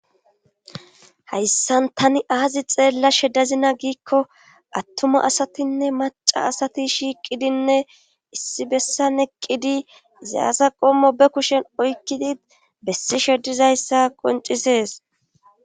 hayssan tani aazi xeellashe dazina giikko attuma asatinne maca asati shiiqidinne issi bessan eqqidi zayasa qommo be kushen oykkidi bessi sheddizayssa qoncisees